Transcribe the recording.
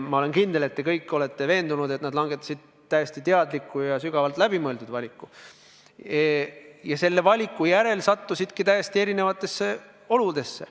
Ma olen kindel, et te kõik olete veendunud, et nad langetasid täiesti teadliku ja sügavalt läbimõeldud valiku, ja selle valiku järel nad sattusidki täiesti erinevatesse oludesse.